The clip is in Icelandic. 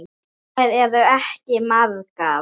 Þær eru ekki margar.